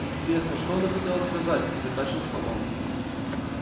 интересно что она хотела сказать закашлялся он